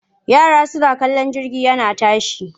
Yara suna kallon jirgi yana tashi.